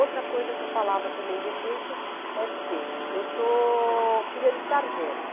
Outra coisa que eu falava também de efeito é dizer, eu sou filha de sargento.